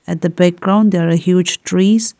At the background there are huge trees.